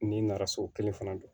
N'i nana so kelen fana don